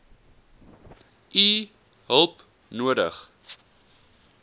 u hulp nodig